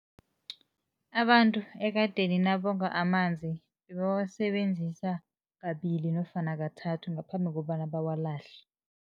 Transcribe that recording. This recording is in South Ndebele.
Abantu ekadeni nabonga amanzi bebawasebenzisa kabili nofana kathathu ngaphambi kobana bawalahle.